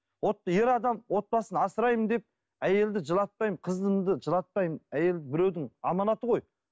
ер адам отбасын асыраймын деп әйелді жылатпаймын қызымды жылатпаймын әйел біреудің аманаты ғой